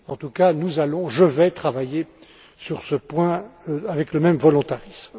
En tout cas, nous allons je vais travailler sur ce point avec le même volontarisme.